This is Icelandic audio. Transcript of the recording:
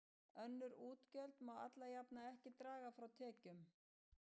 Önnur útgjöld má alla jafna ekki draga frá tekjum.